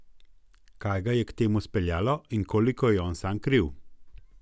Kaj ga je k temu speljalo in koliko je on sam kriv?